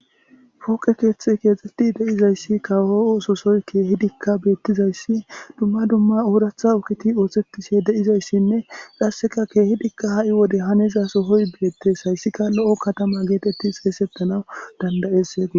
Pooqe keethiy kexetidi de'izaysi kawo oososyi keehidika betizaysi dumma dumma oratha ogeti osetishe de'izaysinne qaseka keehidika ha'i wode haniza sohoyi betesi haysika lo'o katama geteti xeysetanawu danda'eses gusa.